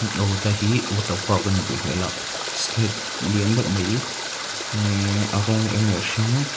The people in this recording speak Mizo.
aw tlai hi water park a nih duh hmel ah slide lian deuh mai a rawng eng leh a hring--